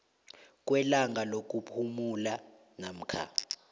kwelanga lokuphumula namkha